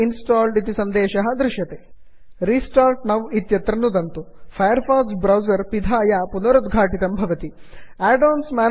अनन्तरं when you restart Mozilla Firefox the add on will be installed when you restart Mozilla Firefox add on will be installed इति सन्देशः दृश्यते